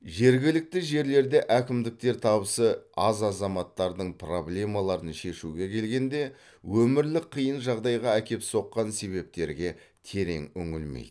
жергілікті жерлерде әкімдіктер табысы аз азаматтардың проблемаларын шешуге келгенде өмірлік қиын жағдайға әкеп соққан себептерге терең үңілмейді